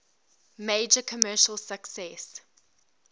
major commercial success